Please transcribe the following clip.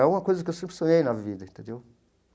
É uma coisa que eu sempre sonhei na vida entendeu.